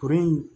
Kuru in